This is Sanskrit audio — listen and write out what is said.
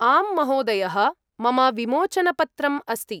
आम् महोदयः। मम विमोचनपत्रम् अस्ति।